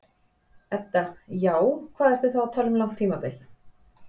Edda: Já, hvað ertu þá að tala um langt tímabil?